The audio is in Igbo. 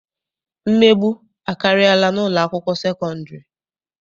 Mmegbu akarịala n'ụlọakwụkwọ sekọndịrị.